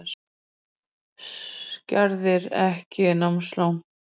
Skerðir ekki námslán